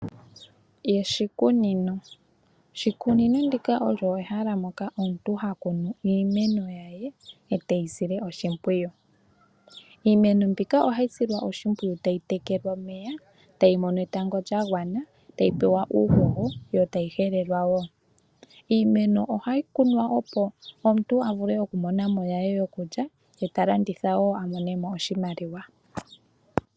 Oshikunino, oshikunino shika osho ehala ndoka omuntu ha kunu iimeno ye eteyi sile oshimpwiyu. Iimeno mbika ohayi silwa oshipwiyu tayi tekelwa omeya, tayi mono etango lyagwana, tayi mono uuhoho yo tayi helelwa wo. Iimeno ohayi kunwa, opo omuntu a vule oku mona mo ye yokulya ye ta landitha wo a mone oshimaliwa.